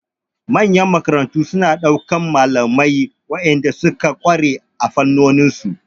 Manyan makarantu suna ɗaukar malamai waɗanda suka ƙware a fannonin su.